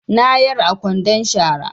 Na yar a kwandon shara